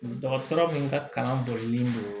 Dɔgɔtɔrɔ min ka kalan bolilen don